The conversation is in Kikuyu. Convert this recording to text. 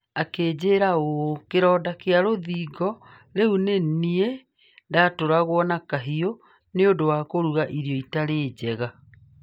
Akĩnjĩra ũũ akĩnjĩra kĩronda kĩa rũthingo: "Rĩu nĩ niĩ ndatũragwo na kahiũ nĩ ũndũ wa kũruga irio itarĩ njega".